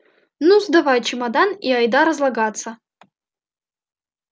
ну сдавай чемодан и айда разлагаться